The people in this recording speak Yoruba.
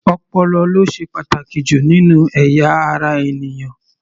Ọpọlọ ló ṣe pàtàkì jù nínú ẹ̀yà ara ènìyàn.